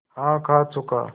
हाँ खा चुका